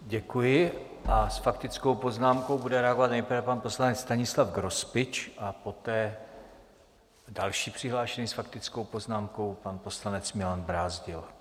Děkuji a s faktickou poznámkou bude reagovat nejprve pan poslanec Stanislav Grospič a poté další přihlášený s faktickou poznámkou, pan poslanec Milan Brázdil.